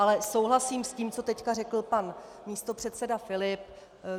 Ale souhlasím s tím, co teď řekl pan místopředseda Filip.